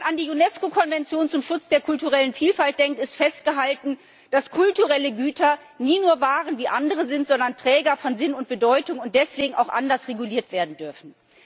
Wenn man an die UNESCO Konvention zum Schutz der kulturellen Vielfalt denkt, so ist dort festgehalten, dass kulturelle Güter nie nur Waren wie andere sind, sondern Träger von Sinn und Bedeutung und deswegen auch anders reguliert werden dürfen.